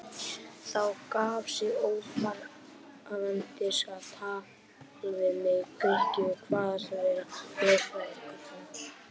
Þá gaf sig óforvarandis á tal við mig Grikki og kvaðst vera lögfræðingur.